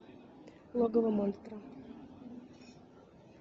логово монстра